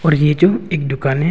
और ये जो एक दुकाने है।